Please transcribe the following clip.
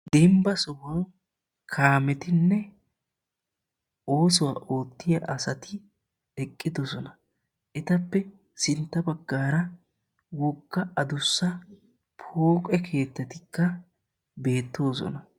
deembba sohuwaan kaammetinne oosuwaa oottiyaa asati eqqidoosona. Ettappe sintta baggaara wogga aduussa pooqqe keettatikka beettoosona.